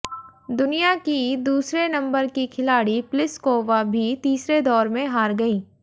दुनिया की दूसरे नंबर की खिलाड़ी प्लिसकोवा भी तीसरे दौर में हार गईं